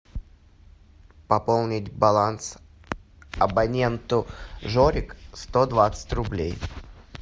пополнить баланс абоненту жорик сто двадцать рублей